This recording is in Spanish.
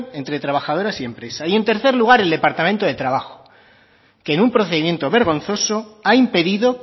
entre trabajadoras y empresas y en tercer lugar el departamento de trabajo que en un procedimiento vergonzoso ha impedido